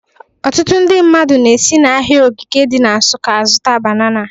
Ọtụtụ ndị mmadụ na-esi n'ahịa Ogige dị na Nsụka azụta banana